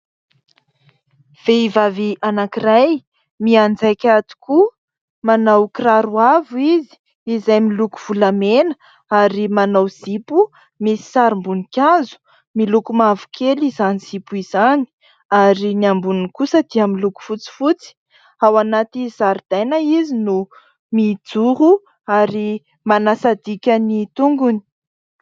Vehivavy anankiray mianjaika tokoa, manao kiraro avo izy izay miloko volamena ary manao zipo misy sarim-boninkazo ; miloko mavokely izany zipo izany ary ny amboniny kosa dia amin'ny loko fotsifotsy. Ao anaty zaridaina izy no mijoro ary manasadika ny tongony.